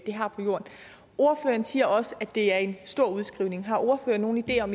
de har på jorden ordføreren siger også at det er en stor udskrivning har ordføreren nogen idé om